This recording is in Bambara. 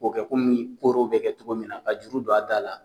K'o kɛ kɔmi koro bɛ kɛ cogo min na ka juru don a da la